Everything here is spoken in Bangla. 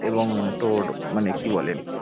এবং তোর মানে কি বলে